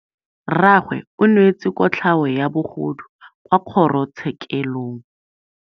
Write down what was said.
Rragwe o neetswe kotlhaô ya bogodu kwa kgoro tshêkêlông.